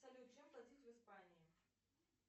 салют чем платить в испании